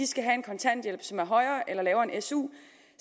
skal have kontanthjælp som er højere eller lavere end su